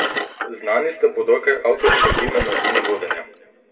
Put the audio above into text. Znani ste po dokaj avtoritativnem načinu vodenja.